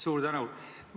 Suur tänu!